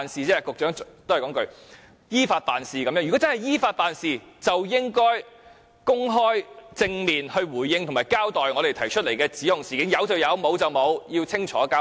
如真的是依法辦事，便應該公開、正面回應及交代我們提出的指控事件，有便是有，沒有便是沒有，要清楚交代。